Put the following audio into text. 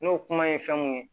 N'o kuma ye fɛn mun ye